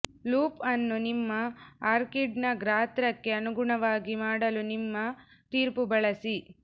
loop ಅನ್ನು ನಿಮ್ಮ ಆರ್ಕಿಡ್ನ ಗಾತ್ರಕ್ಕೆ ಅನುಗುಣವಾಗಿ ಮಾಡಲು ನಿಮ್ಮ ತೀರ್ಪು ಬಳಸಿ